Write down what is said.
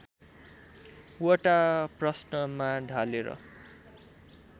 वटा प्रश्नमा ढालेर